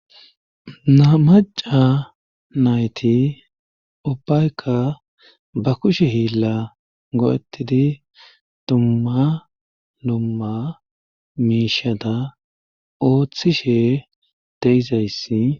na maca nayti ubbayka ba kushe hiilla go7etidi dumma lumma miishada ooththishe de'izayssi